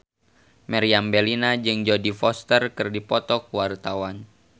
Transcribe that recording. Meriam Bellina jeung Jodie Foster keur dipoto ku wartawan